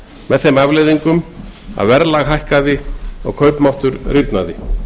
með þeim afleiðingum að verðlag hækkaði og kaupmáttur rýrnaði